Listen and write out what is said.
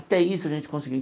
Até isso a gente conseguiu.